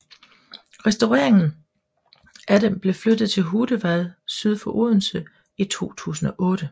Restaureringen af dem blev flyttet til Hudevad syd for Odense i 2008